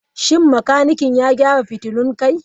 Shin makanikin ya gyara fitulun kai?